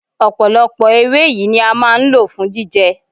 Ọ̀pọ̀lọpọ̀ ewé yìí ni a máa ń lò fún jíjẹ.